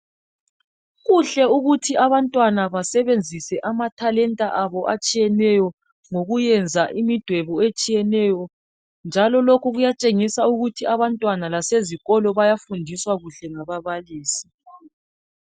Kuhle ukuthi abantwana basebenzise amathalenta abo atshiyeneyo ngokuyenza imidwebo etshiyeneyo, njalo lokhu kuyathengisa ukuthi abantwana lasezikolo bayafundiswa kuhle ngababalisi.